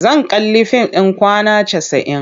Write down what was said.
Zan kalli fim ɗin Kwana Casa'in.